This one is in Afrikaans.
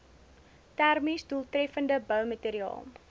termies doeltreffende boumateriaal